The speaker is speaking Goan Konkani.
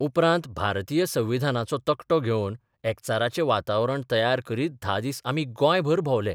उपरांत भारतीय संविधानाचो तकटो घेवन एकचाराचें वातावरण तयार करीत धा दीस आमी गोंयभर भोंबले.